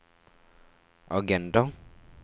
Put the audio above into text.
agenda